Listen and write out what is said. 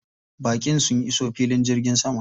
Baƙin sun iso filin jirgin sama.